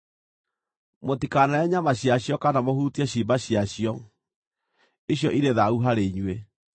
Mũtikanarĩe nyama ciacio kana mũhutie ciimba ciacio; icio irĩ thaahu harĩ inyuĩ.